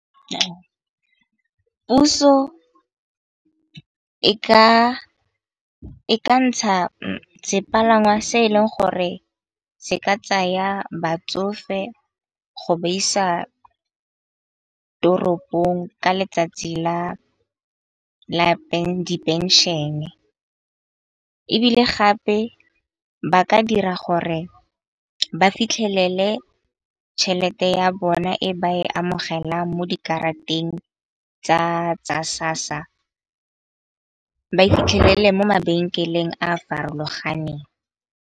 Puso e ka ntsha sepalangwa se e leng gore se ka tsaya batsofe go ba isa toropong ka letsatsi la di phenšene. Ebile gape ba ka dira gore ba fitlhelele tšhelete ya bona e ba e amogelang mo dikarateng tsa SASSA. Ba e fitlhelele mo mabenkeleng a a farologaneng.